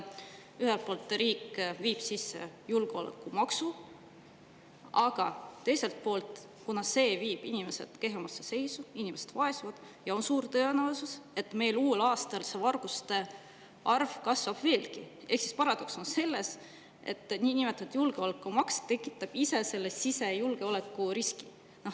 Ühelt poolt viib riik sisse julgeolekumaksu, aga teiselt poolt, kuna see viib inimesed kehvemasse seisu, inimesed vaesuvad ja on suur tõenäosus, et uuel aastal varguste arv kasvab veelgi, ning siis tekib paradoks, et niinimetatud julgeolekumaks tekitab ise sisejulgeolekuriski.